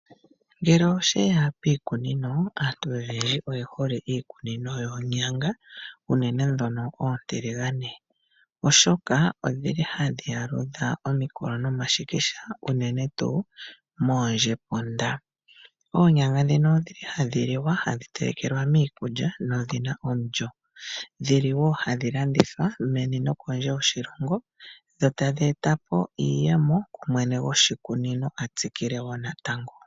Ngele osheya piikunino, aantu oyendji oye hole iikunino yoonyanga unene ndhono oontiligane. Oshoka ohadhi aludha omikolo nomashikisha unene tuu moondjepunda. Oonyanga ndhino ohadhi liwa hadhi telekelwa miikulya nodhina omulyo. Ohadhi landithwa meni nokondje yoshilongo dho tadhi eta po iiyemo kumwene goshikunino atsikile natango.